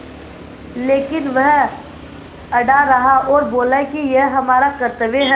लेकिन वह अड़ा रहा और बोला कि यह हमारा कर्त्तव्य है